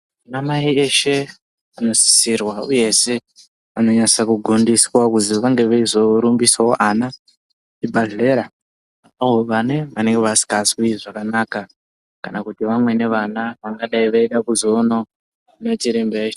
Anamai eshe anosisirwa uyezve anonyasa kugondiswa kuzi vange veizorumbisawo ana kuzvibhahlera avo vane, vanee vasikazwi zvakanaka kana kuti vamweni vana vangadai eida kuzoona machiremba e...